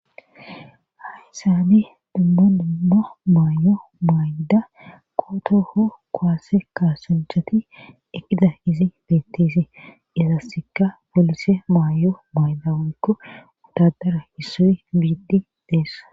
haysani dumma dummo maayo maaydda kootoho koase kaasunchati ekida izi beettisi izassikka polise maayo maayda waykko utadara hissoy biiddi deessa